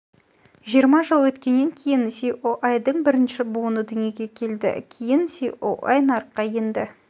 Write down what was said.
жиырма жыл өткеннен кейін іотың бірінші буыны дүниеге келді кейін іое нарыққа енді